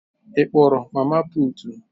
Ị kpọrọ mama putu?